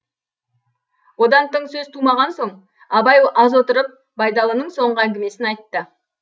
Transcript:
одан тың сөз тумаған соң абай аз отырып байдалының соңғы әңгімесін айтты